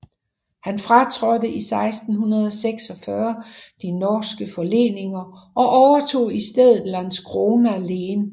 Han fratrådte i 1646 de norske forleninger og overtog i stedet Landskrona len